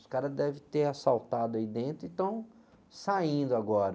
Os caras devem ter assaltado aí dentro e estão saindo agora.